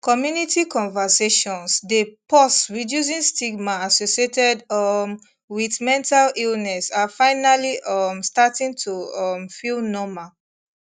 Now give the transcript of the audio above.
community conversations dey pause reducing stigma associated um wit mental illness are finally um starting to um feel normal